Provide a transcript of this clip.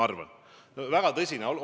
See on väga tõsine arutelu.